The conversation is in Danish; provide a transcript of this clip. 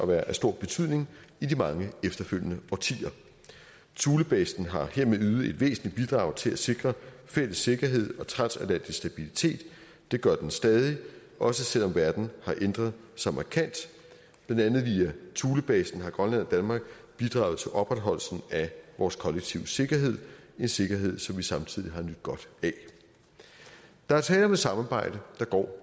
være af stor betydning i de mange efterfølgende årtier thulebasen har hermed ydet et væsentligt bidrag til at sikre fælles sikkerhed og transatlantisk stabilitet og det gør den stadig også selv om verden har ændret sig markant blandt andet via thulebasen har grønland og danmark bidraget til opretholdelsen af vores kollektive sikkerhed en sikkerhed som vi samtidig har nydt godt af der er tale om et samarbejde der går